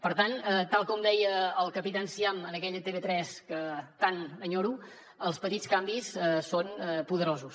per tant tal com deia el capità enciam en aquella tv3 que tant enyoro els petits canvis són poderosos